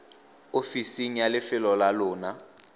ofiseng ya lefelo la lona